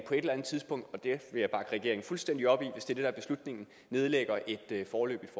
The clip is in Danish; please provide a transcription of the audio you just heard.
fuldstændig op i hvis det det er beslutningen nedlægger et foreløbigt